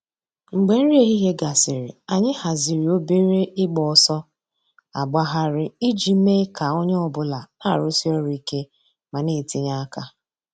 Mgbè nrí èhìhìè gásịrị, ànyị̀ hàzìrì òbèrè ị̀gba òsọ̀ àgbàghàrì íjì mée kà ònyè ọ̀bula nà-àrụ́sí òrụ̀ íké mà nà-ètìnyè àkà.